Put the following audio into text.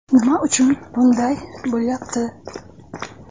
Nima uchun bunday bo‘lyapti?